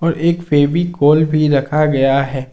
तो एक फेविकोल भी रखा गया है।